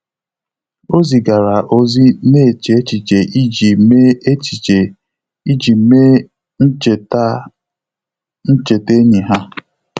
Ọ́ zìgàrà ózị́ nà-échè échíché iji mèé échíché iji mèé ncheta ncheta ényì ha.